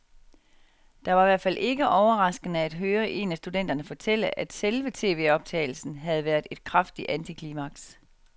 Det var i hvert fald ikke overraskende at høre en af studenterne fortælle, at selve tvoptagelsen havde været et kraftigt antiklimaks.